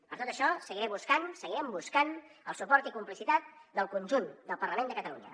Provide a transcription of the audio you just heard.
per tot això seguiré buscant seguirem buscant el suport i la complicitat del conjunt del parlament de catalunya